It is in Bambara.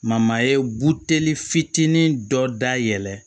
ye buteli fitinin dɔ dayɛlɛ